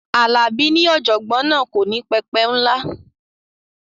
Alabi ní ọ̀jọ̀gbọ́n náà kò ní pẹpẹ ńlá